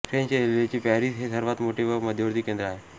French रेल्वेचे Paris हे सर्वांत मोठे व मध्यवर्ती केंद्र आहे